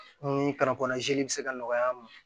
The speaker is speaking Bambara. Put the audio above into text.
Ni bɛ se ka nɔgɔya an ma